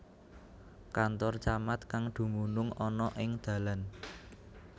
Kantor Camat kang dumunung ana ing dalan